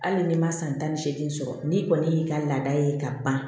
Hali n'i ma san tan ni seegin sɔrɔ n'i kɔni y'i ka laada ye ka ban